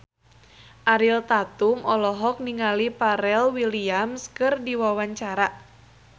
Ariel Tatum olohok ningali Pharrell Williams keur diwawancara